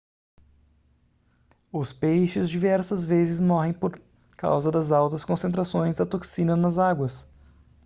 os peixes diversas vezes morrem por causa das altas concentrações da toxina nas águas